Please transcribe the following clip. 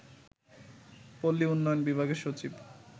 পল্লী উন্নয়ন বিভাগের সচিব